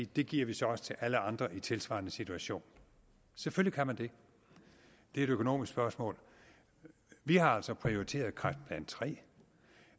det giver vi så også til alle andre i tilsvarende situation selvfølgelig kan man det det er et økonomisk spørgsmål vi har altså prioriteret kræftplan iii